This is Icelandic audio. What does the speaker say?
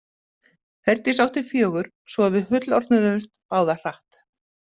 Herdís átti fjögur svo að við fullorðnuðumst báðar hratt.